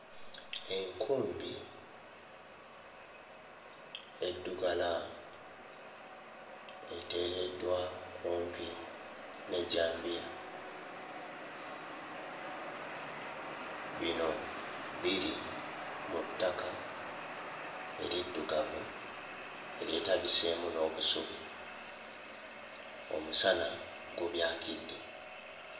Enkumbi eddugala eteereddwa kumpi n'ejjambiya. Bino biri mu ttaka eriddugavu eryetabiseemu n'obusubi omusana gubyakidde.